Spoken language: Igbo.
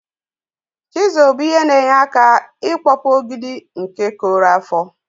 chizul bu ihe na enye aka ikpọpụ ọgidi nke korụ afọ.